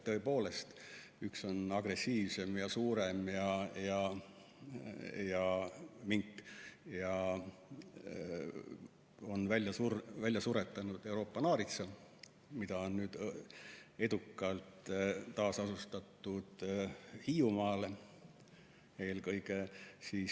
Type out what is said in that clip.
Tõepoolest, üks neist, nimelt mink, on agressiivsem ja suurem ning ta on välja suretanud Euroopa naaritsa, mida on nüüd edukalt taasasustatud Hiiumaale, eelkõige.